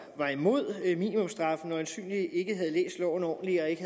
var imod minimumsstraffe øjensynligt ikke havde læst loven ordentligt og ikke